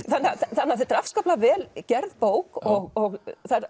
þannig að þetta er afskaplega vel gerð bók og